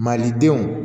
Malidenw